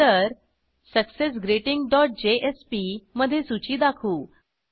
नंतर success greeting dot JSP मधे सूची दाखवू